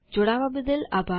જોડવા બદલ આભાર